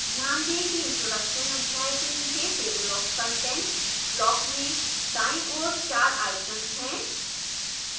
ध्यान दें कि introduction अध्याय के नीचे table of contents block में दाईं ओर 4 icons हैं